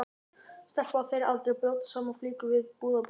Stelpa á þeirra aldri að brjóta saman flíkur við búðarborð.